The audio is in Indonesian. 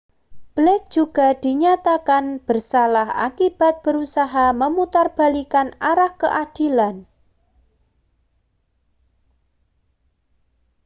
blake juga dinyatakan bersalah akibat berusaha memutarbalikkan arah keadilan